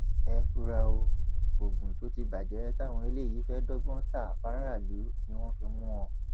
ẹ fura o oògùn tó ti bàjẹ táwọn eléyìí fẹẹ dọgbọn ta fáráàlú ni wọn fi mú wọn